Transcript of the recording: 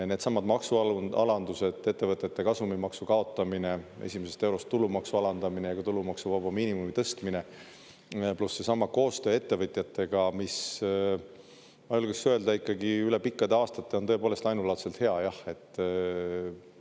Needsamad maksualandused, ettevõtete kasumimaksu kaotamine, esimesest eurost tulumaksu alandamine ja ka tulumaksuvaba miinimumi tõstmine pluss seesama koostöö ettevõtjatega, mis, ma julgeksin öelda, ikkagi üle pikkade aastate on tõepoolest ainulaadselt hea, jah.